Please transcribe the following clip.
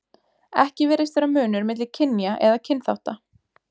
Ekki virðist vera munur milli kynja eða kynþátta.